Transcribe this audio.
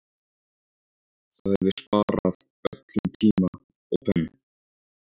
Það hefði sparað öllum tíma og pen